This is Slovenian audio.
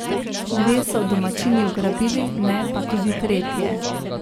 Dve so domačini ubranili, ne pa tudi tretje.